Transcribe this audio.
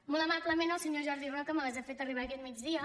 molt amablement el senyor jordi roca me les ha fet arribar aquest migdia